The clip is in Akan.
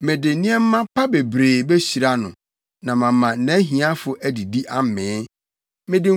mede nneɛma pa bebree behyira no na mama nʼahiafo adidi amee.